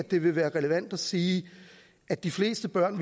det ville være relevant at sige at de fleste børn